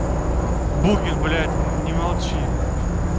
букин блять не молчи